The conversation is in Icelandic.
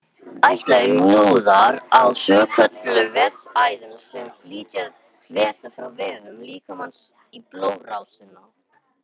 Eitlar eru hnúðar á svokölluðum vessaæðum sem flytja vessa frá vefjum líkamans í blóðrásina.